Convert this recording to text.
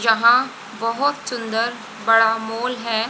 यहां बहुत सुंदर बड़ा मॉल है।